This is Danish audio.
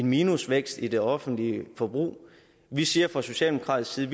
minusvækst i det offentlige forbrug vi siger fra socialdemokratisk side